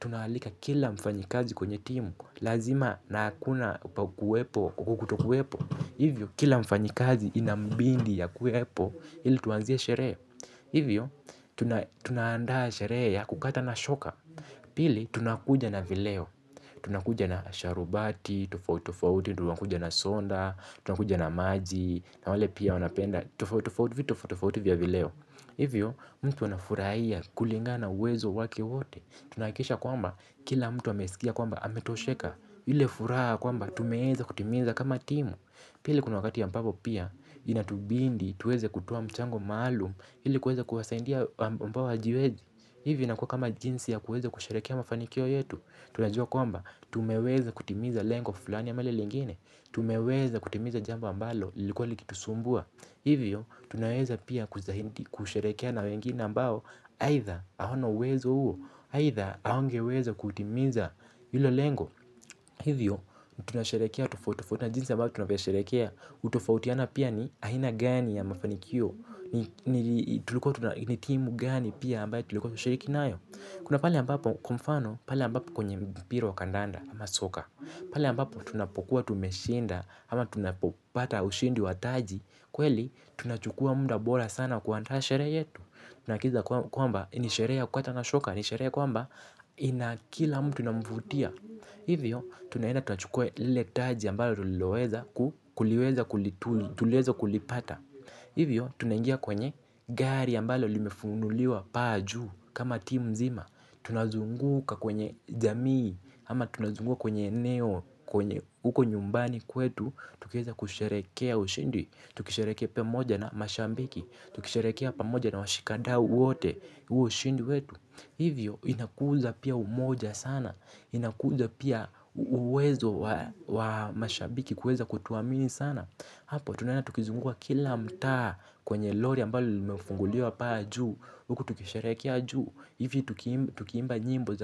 Tunaalika kila mfanyikazi kwenye timu. Lazima na hakuna pa kuwepo au kutokuwepo. Hivyo, kila mfanyikazi inambindi akuwepo ili tuanzie sherehe. Hivyo, tunaandaa sherehe ya kukata na shoka. Pili, tunakuja na vileo. Tunakuja na sharubati, tofautitofauti tunakuja na soda. Tunakuja na maji na wale pia wanapenda tofauti tofauti vitu, tofauti tofauti vya vileo. Hivyo, mtu anafurahia kulingana na uwezo wake wote. Tunahakikisha kwamba kila mtu amesikia kwamba ametosheka ile furaha yakwamba tumeweza kutimiza kama timu. Pili kuna wakati ya ambapo pia inatubidi, tuweze kutoa mchango maalum ili kuweza kuwasaidia ambao hawajiwezi. Hivi inakuwa kama jinsi ya kuweza kusherehekea mafanikio yetu. Tunajua kwamba tumeweza kutimiza lengo fulani ama lile lingine. Tumeweza kutimiza jambo ambalo lilikuwa likitusumbua. Hivyo, tunaweza pia kuzahindi, kusherehekea na wengine ambao aitha, hawana uwezo huo. Aitha, hawangeweza kutimiza hilo lengo. Hivyo, tunasherehekea tofautitofauti na jinsi ambayo tunavyosherehekea utofautiana pia ni aina gani ya mafanikio. Ni timu gani pia ambayo tulikuwa tumeshirikinayo. Kuna pale ambapo kwa mfano, pale ambapo kwenye mpira wa kandanda ama soka. Pale ambapo tunapokuwa tumeshinda ama tunapopata ushindi wa taji. Kweli tunachukua muda bora sana kuandaa sherehe yetu. Tunahakikisha kwamba nisherehe ya kukata na shoka. Nisherehe kwamba nakila mtu na inamvutia. Hivyo tunaenda tanachukua ile taji ambayo tuliloweza kuliweza tulipata. Hivyo tunangia kwenye gari ambalo limefunguliwa paa juu. Kama timu mzima. Tunazunguka kwenye jamii ama tunazunguka kwenye eneo, kwenye uko nyumbani kwetu. Tukiweza kusherehekea ushindi. Tukisherehekea pamoja na mashabiki. Tukisherehekea pamoja na washikadau wote huo ushindi wetu. Hivyo inakuza pia umoja sana. Inakuza pia uwezo wa mashabiki kuweza kutuamini sana. Hapo tunaenda tukizunguka kila mtaa. Kwenye lori ambalo lumefunguliwa paa juu. Huku tukisharehekea juu. Hivi tukiimba njimbo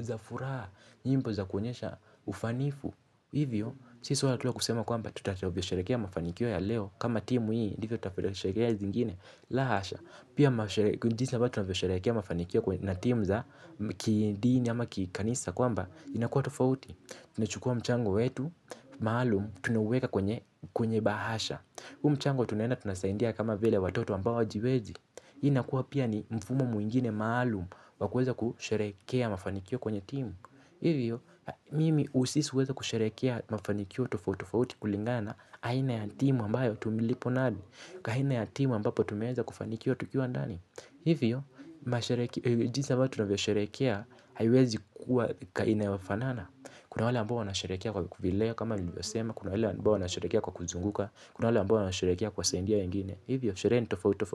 za furaha. Njimbo za kuonyesha ufanifu. Hivyo, si swala tu la kusema kwamba tutacho kisherehekea mafanikio ya leo. Kama timu hii, ndivyo tavyosherehekea zingine. La hasha, pia jinsi ambavyo tunavyosherehekea mafanikio na timu za kidini ama kikanisa. Kwamba, inakua tofauti. Tuna chukua mchango wetu, maalum, tunauweka kwenye bahasha. Hu mchango tunaenda tunasaidia kama vile watoto ambao hawajiwezi. Hii inakuwa pia ni mfumo mwingine maalum wakuweza kusherehekea mafanikio kwenye timu. Hivyo, mimi usisuweza kusherehekea mafanikio tofautofauti kulingana na aina ya timu ambayo tumilipo nadi. Kahina ya timu ambapo tumeweza kufanikiwa tukiwa ndani. Hivyo, jinsi ambavyo tunavyo sherehekea, haiwezi kuwa inayofanana. Kuna wala ambao wanasherehekea kwa vileo kama nilivyo sema, kuna wala ambao wanasherehekea kwa kuzunguka, kuna wale ambao wanasherehekea kwa kuwasaidia wengine. Hivyo, sherehe nitofautitofauti.